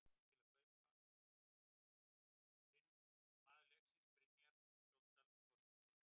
Maður leiksins: Brynjar Skjóldal Þorsteinsson